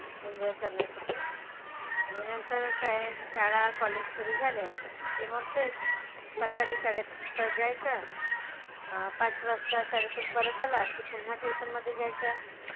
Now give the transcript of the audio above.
Enjoy करण्यासाठी. आणि नंतर काय शाळा, college सुरु झाल्या की मग तेच. सकाळी शाळेत तर जायचं अह पाच वाजता शाळेतून परत आलास की पुन्हा tuition मधे जायचं.